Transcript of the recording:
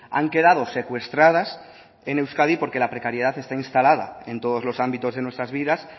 han quedado secuestradas en euskadi porque la precariedad está instalada en todos los ámbitos de nuestras vidas